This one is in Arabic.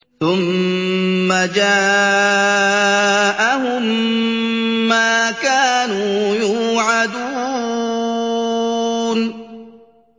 ثُمَّ جَاءَهُم مَّا كَانُوا يُوعَدُونَ